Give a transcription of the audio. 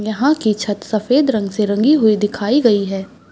यहाँ की छत सफ़ेद रंग से रंगी हुई दिखाई गई हैं ।